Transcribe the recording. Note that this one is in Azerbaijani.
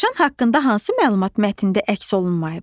Dovşan haqqında hansı məlumat mətndə əks olunmayıb?